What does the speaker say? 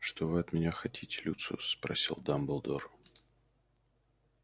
что вы от меня хотите люциус спросил дамблдор